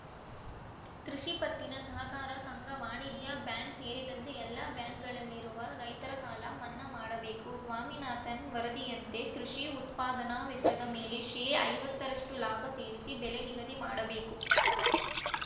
ಕೃಷಿಪತ್ತಿನ ಸಹಕಾರ ಸಂಘ ವಾಣಿಜ್ಯ ಬ್ಯಾಂಕ್‌ ಸೇರಿದಂತೆ ಎಲ್ಲ ಬ್ಯಾಂಕ್‌ಗಳಲ್ಲಿರುವ ರೈತರ ಸಾಲ ಮನ್ನಾ ಮಾಡಬೇಕು ಸ್ವಾಮಿನಾಥನ್‌ ವರದಿಯಂತೆ ಕೃಷಿ ಉತ್ಪಾದನಾ ವೆಚ್ಚದ ಮೇಲೆ ಶೇ ಐವತ್ತರಷ್ಟುಲಾಭ ಸೇರಿಸಿ ಬೆಲೆ ನಿಗಧಿ ಮಾಡಬೇಕು